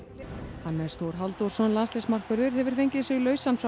Hannes Þór Halldórsson landsliðsmarkvörður hefur fengið sig lausan frá